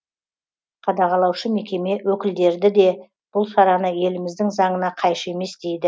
қадағалаушы мекеме өкілдерді де бұл шараны еліміздің заңына қайшы емес дейді